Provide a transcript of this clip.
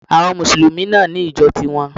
Àwon mùsùlùmí náà ní ìjo ti won